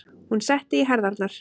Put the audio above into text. Hún setti í herðarnar.